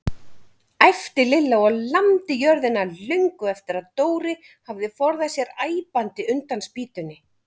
æpti Lilla og lamdi jörðina löngu eftir að Dóri hafði forðað sér æpandi undan spýtunni.